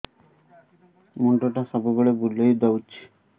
ମୁଣ୍ଡଟା ସବୁବେଳେ ବୁଲେଇ ଦଉଛି